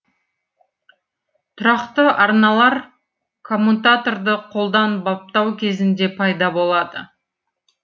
тұрақты арналар коммутаторды қолдан баптау кезінде пайда болады